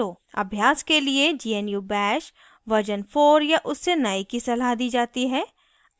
अभ्यास के लिए gnu bash version 4 या उससे नए की सलाह दी जाती है